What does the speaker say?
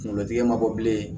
Kunkolotigi ma bɔ bilen